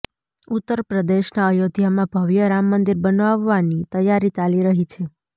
ઉત્તર પ્રદેશના અયોધ્યામાં ભવ્ય રામ મંદિર બનાવવાની તૈયારી ચાલી રહી છે